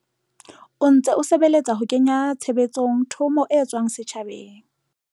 O ntse o sebeletsa ho kenya tshebetsong thomo e tswang setjhabeng.